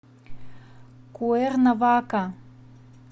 куэрнавака